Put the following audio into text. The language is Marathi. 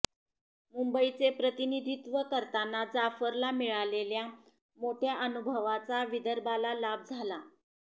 मुंबईचे प्रतिनिधित्व करताना जाफरला मिळालेल्या मोठ्या अनुभवाचा विदर्भाला लाभ झाला